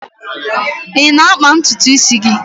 Ị na-akpa ntutu isi gị?